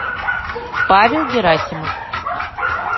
павел герасимов